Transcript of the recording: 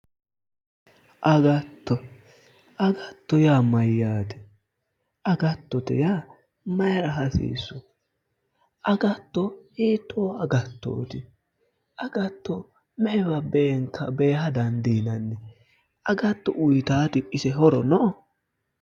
Agatto. agatto yaa mayyaate? agattote yaa maayiira hasiissu? agatto hiittoo agattooti? agatto me'ewa beeha dandiinanni? agatto uuyiitaati ise horo no?